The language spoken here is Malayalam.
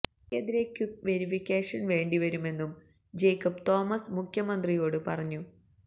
മന്ത്രിക്കെതിരെ ക്വുക്ക് വെരിഫിക്കേഷന് വേണ്ടിവരുമെന്നും ജേക്കബ് തോമസ് മുഖ്യമന്ത്രിയോട് പറഞ്ഞു